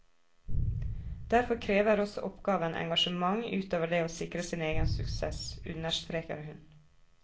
Derfor krever også oppgaven engasjement utover det å sikre sin egen suksess, understreker hun.